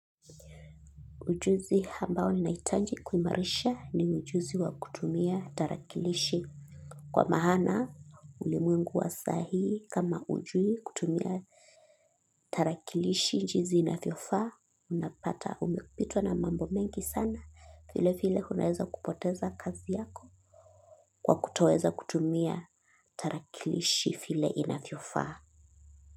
Ujuzi hambao nina hitaji kuimarisha ni ujuzi wa kutumia tarakilishi. Kwa maana ulimwengu wa sahi kama hujui kutumia tarakilishi jinzi inavyofaa unapata umepitwa na mambo mengi sana vile file unaweza kupoteza kazi yako. Kwa kutoweza kutumia tarakilishi file inavyofaa.